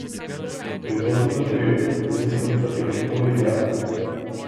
Pritožnik zatrjuje, da ni sodnica tega nikoli izjavila.